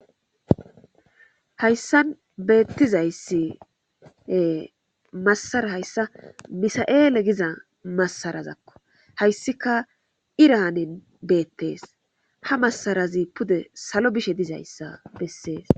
hayssan beettizayssi massara hayssa misa7eele giza massarazakko hayssika iraanen beettees ha masarazi pude salo bishe dizayssa bessees